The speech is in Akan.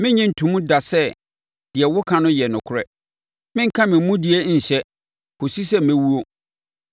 Merennye nto mu da sɛ deɛ woka no yɛ nokorɛ; merenka me mudie nhyɛ, kɔsi sɛ mɛwuo.